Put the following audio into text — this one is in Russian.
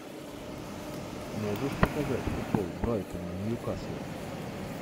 можешь показать футбол брайтон ньюкасл